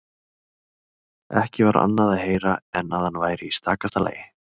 Ekki var annað að heyra en að hann væri í stakasta lagi.